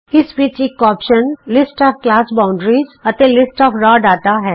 ਇਸ ਵਿਚ ਇਕ option list of class boundaries ਅਤੇ ਲਿਸਟ ਆਫ ਰਾਅ ਡਾਟਾ ਹੈ